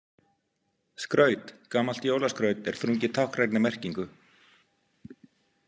Skraut Gamalt jólaskraut er þrungið táknrænni merkingu.